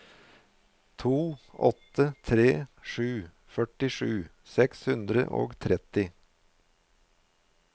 to åtte tre sju førtisju seks hundre og trettini